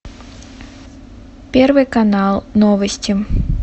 первый канал новости